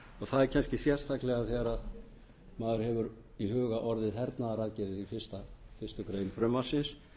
það er kannski sérstaklega þegar maður hefur í huga orðið hernaðaraðgerðir í fyrstu grein frumvarpsins